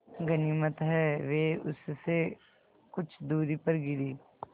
गनीमत है वे उससे कुछ दूरी पर गिरीं